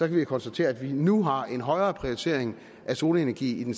vi konstatere at vi nu har en højere prioritering af solenergi i den